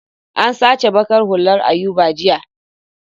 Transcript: An sace baƙar hullar Ayuba jiya.